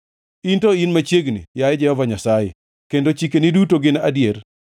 In to in machiegni, yaye Jehova Nyasaye, kendo chikeni duto gin adier.